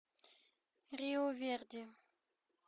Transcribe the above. риу верди